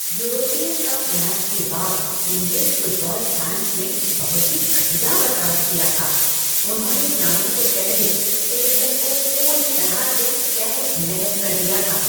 यूरोपीय cup match के बाद इंग्लिश फुटबॉल फैन्स ने बहुत ही घटिया बर्ताव किया था, उन्होंने जाने से पहले स्टेडियम को पूरी तरह से तहस नहस कर दिया था।